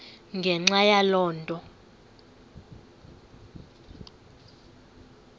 ngenxa yaloo nto